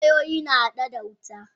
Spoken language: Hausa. Wayoyi na hada wuta.